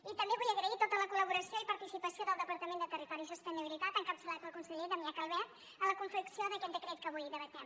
i també vull agrair tota la col·laboració i participació del departament de territori i sostenibilitat encapçalat pel conseller damià calvet en la confecció d’aquest decret que avui debatem